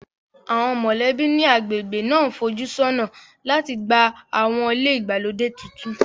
Àwọn mọ̀lẹ́bí ní agbègbè náà ń fojú sọ́nà láti gba àwọn ilé ìgbàlódé tuntun